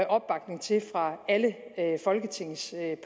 opbakning til fra alle folketingets